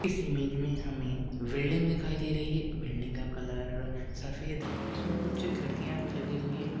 इस इमेज मे हमे बिल्डिंग दिखाई दे रही है बिल्डिंग का कलर सफेद हे उसमे कुछ खिड़किया भी लगी हुई है।